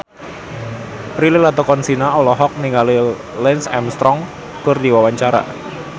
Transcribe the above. Prilly Latuconsina olohok ningali Lance Armstrong keur diwawancara